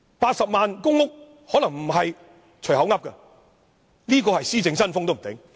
80萬公屋單位可能不是隨口說的，也許這是施政新風。